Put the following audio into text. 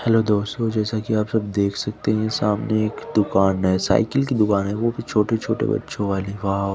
hello दोस्तों जैसा की आप सब देख सकते है सामने एक दूकान है साइकिल की दूकान है वो भो छोटे छोटे बच्चो वाली गाव--